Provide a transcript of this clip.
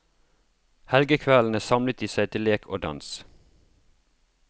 Helgakveldene samlet de seg til lek og dans.